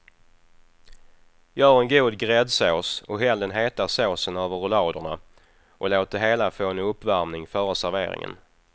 Gör en god gräddsås och häll den heta såsen över rulladerna och låt det hela få en uppvärmning före serveringen.